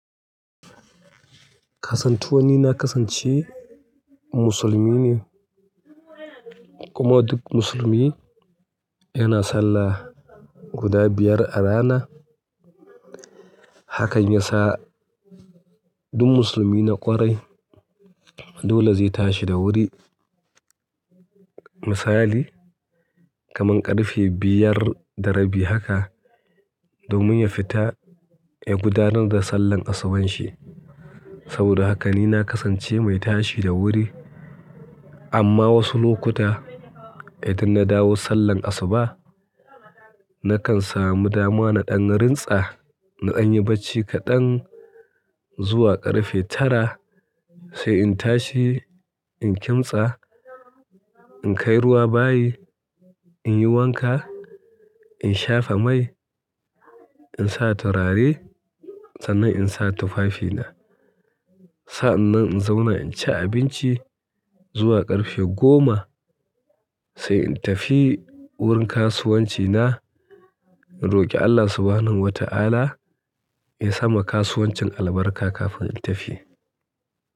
Kasantuwan ni na kasance musulmi ne kuma duk musulmi yana sallah guda biyar a rana. Haka yasa duk musulmi na ƙwarai dole zai tashi da wuri. Misali kaman ƙarfe biyar da rabi haka domin ya fita ya gudanar da sallan asuban shi. Saboda haka ni na kasance mai tashi da wuri amma wasu lokuta idan na dawo sallan asuba nakan samu dama na ɗan rintsa, na ɗan yi bacci kaɗan zuwa ƙarfe tara sai in tashi, in kimtsa, in kai ruwa bayi, in yi wanka, in shafa mai, in sa turare sannan in sa tufafina. Sa'an nan in zauna in ci abinci zuwa ƙarfe goma sai in tafi wurin kasuwanci na, in roƙi Allah Subhanahu wa ta'ala ya sa ma kasuwancin albarka kafin in tafi.